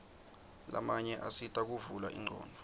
lamanye asita kuvula ingcondvo